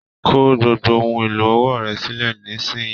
Kò gbogbo ohùn èlò ọwọ́ rẹ sílẹ nisinyi!